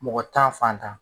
Mɔgɔ tan fantan